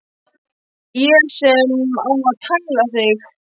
Ég sem á að tæla þig.